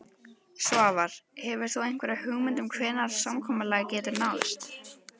Svavar: Hefur þú einhverja hugmynd um hvenær samkomulag getur náðst?